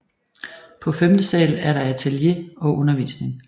På femte sal er der atelie og undervisning